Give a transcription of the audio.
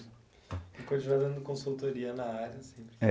E continua dando consultoria na área sempre?